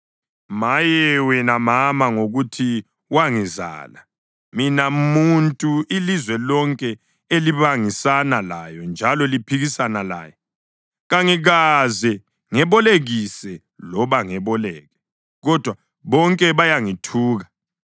Maye, wena mama, ngokuthi wangizala, mina muntu ilizwe lonke elibangisana laye njalo liphikisana laye! Kangikaze ngebolekise loba ngeboleke, kodwa bonke bayangithuka.